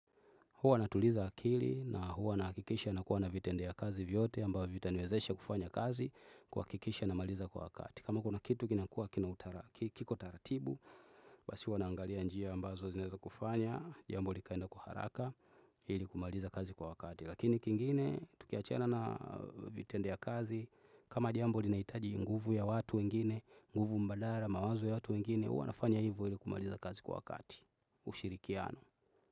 Huwa natuliza akili na huwa nahakikisha nakuwa na vitendo ya kazi vyote ambavyo vitaniwezesha kufanya kazi kuhakikisha namaliza kwa wakati. Kama kuna kitu kinakua kiko taratibu, basi huwa naangalia njia ambazo zinaeza kufanya, jambo likaenda kwa haraka, ili kumaliza kazi kwa wakati. Lakini kingine, tukiachana na vitendo ya kazi, kama jambo linahitaji nguvu ya watu wengine, nguvu mbadala, mawazo ya watu wengine, huwa nafanya hivo ili kumaliza kazi kwa wakati. Ushirikiano.